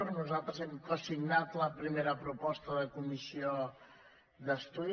nosaltres hem cosignat la primera proposta de comissió d’estudi